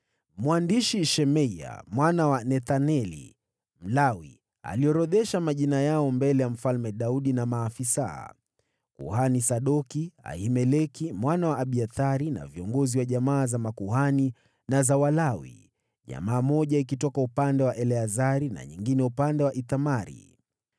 Mwandishi Shemaya mwana wa Nethaneli, Mlawi, aliorodhesha majina yao mbele ya Mfalme Daudi na maafisa: Kuhani Sadoki, Ahimeleki mwana wa Abiathari, na viongozi wa jamaa za makuhani na za Walawi: jamaa moja ikitoka upande wa Eleazari na nyingine upande wa Ithamari.